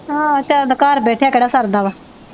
ਹਾਂ ਸਾਡਾ ਘਰ ਬੈਠਿਆਂ ਕਿਹੜਾ ਸਰਦਾ ਵਾ।